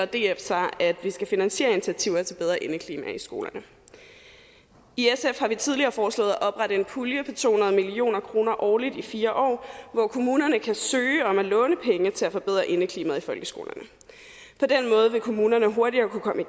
df sig at vi skal finansiere initiativer til bedre indeklima i skolerne i sf har vi tidligere foreslået at oprette en pulje på to hundrede million kroner årligt i fire år hvor kommunerne kan søge om at låne penge til at forbedre indeklimaet i folkeskolerne på den måde vil kommunerne hurtigere kunne komme i